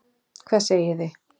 Hvað segið þið?